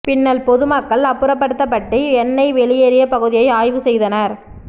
பின்னல் பொதுமக்கள் அப்புறப்படுத்தப்பட்டு எண்ணெய் வெளியேறிய பகுதியை ஆய்வு செய்தனர்